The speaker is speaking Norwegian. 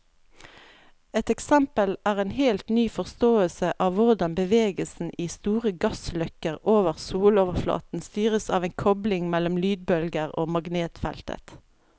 Et eksempel er en helt ny forståelse av hvordan bevegelsen i store gassløkker over soloverflaten styres av en kobling mellom lydbølger og magnetfeltet.